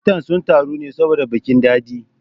Matan sun taru ne saboda bikin daɗe